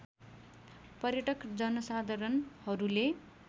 पर्यटक जनसाधारणहरूले